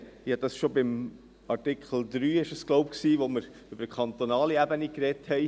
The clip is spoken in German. Ich glaube, ich habe dies schon bei Artikel 3 gesagt, als wir über die kantonale Ebene gesprochen haben.